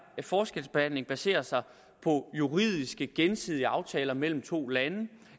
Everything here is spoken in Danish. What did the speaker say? forskelsbehandling baserer sig på juridiske gensidige aftaler mellem to lande